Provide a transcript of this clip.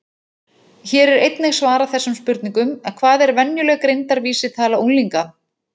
Hér er einnig svarað þessum spurningum: Hvað er venjuleg greindarvísitala unglinga?